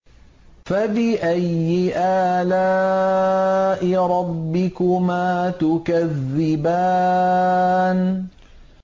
فَبِأَيِّ آلَاءِ رَبِّكُمَا تُكَذِّبَانِ